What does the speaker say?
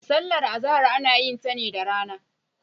Sallar Azahar ana yin ta ne da rana.